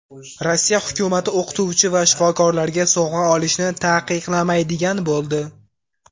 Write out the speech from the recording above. Rossiya hukumati o‘qituvchi va shifokorlarga sovg‘a olishni taqiqlamaydigan bo‘ldi.